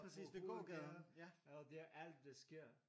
På gågaden og det er alt der sker